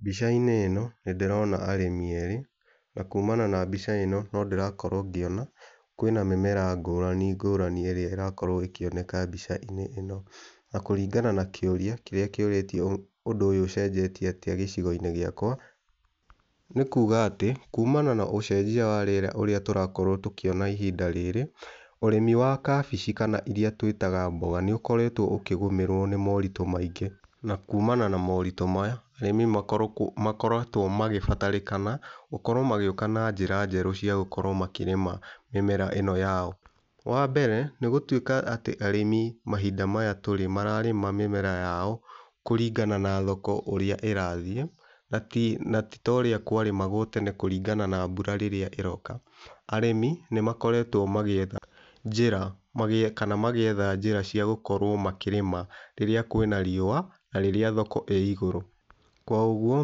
Mbica-inĩ ĩno nĩndĩrona arĩmi erĩ na kumana na mbica ĩno nĩndĩrakorwo ngĩona kwĩna mĩmera ngũrani ngũrani ĩrĩa ĩrakorwo ĩkioneka mbica-inĩ ĩno, na kũringana na kĩria kĩrĩa kĩũrĩtio ũndũ ũyũ ũcenjetie atĩa gĩcigo-inĩ gĩakwa, nĩkuga atĩ kumana na ũcenjia wa rĩera ũrĩa tũrakorwo tũkiona ihinda rĩrĩ, ũrĩmi wa kabici kana iria twĩtaga mboga nĩukoretwo ũkĩgũmĩrwo nĩ mũritũ maingĩ na kumana na maũritũ maya arĩmi makoretwo magĩbatarĩkana gũkorwo magĩũka na njĩra njerũ cia gũkorwo makĩrĩma mĩmera ĩno yao. Wambere, nĩ gũtuĩka atĩ arĩmi mahinda maya tũrĩ mararĩma mĩmera yao kũringana na thoko ũrĩa ĩrathiĩ, na ti ta ũrĩa kwarĩmagwo tene kũringana na mbura rĩrĩa ĩroka arĩmi nĩmakoretwo magĩetha njĩra, kana magĩetha njĩra cia gũkorwo makĩrĩma rĩrĩa kwĩna riũa na rĩrĩa thoko ĩ igũrũ, kwa ũguo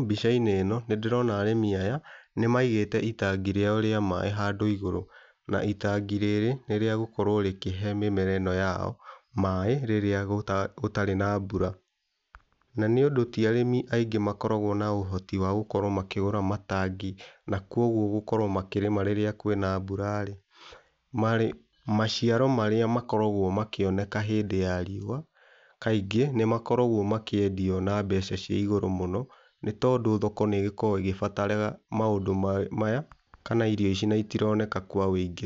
mbica-inĩ ĩno nĩndĩrona arĩmi aya nĩmaigĩte itangi rĩao rĩa maĩ handũ igũrũ, na itangi rĩrĩ nĩ rĩa gũkorwo rĩkĩhe mĩmera ĩno yao maĩ rĩrĩa gũtarĩ na mbura. Na ningĩ ti arĩmi aingĩ makoragwo na ũhoti wa gũkorwo makĩgũra matangi na kwa ũguo gũkorwo makĩrĩma rĩrĩa kwĩna mbura-rĩ , maciaro marĩa makoragwo makĩoneka hĩndĩ ya riũa kaingĩ nĩmakoragwo makĩendio na mbeca cia igũrũ mũno, nĩ tondũ thoko nĩgĩkoragwo ĩgĩbatara maũndũ maya kana irio ici na itironeka kwa wĩingĩ.